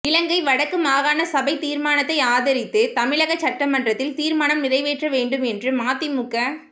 இலங்கை வடக்கு மாகாண சபை தீர்மானத்தை ஆதரித்து தமிழகச் சட்டமன்றத்தில் தீர்மானம் நிறைவேற்ற வேண்டும் என்று மதிமுக